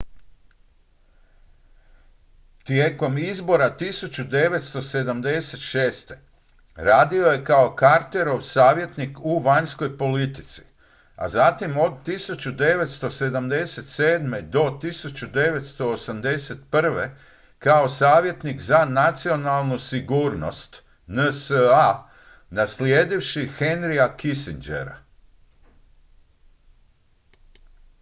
tijekom izbora 1976. radio je kao carterov savjetnik u vanjskoj politici a zatim od 1977. do 1981. kao savjetnik za nacionalnu sigurnost nsa naslijedivši henryja kissingera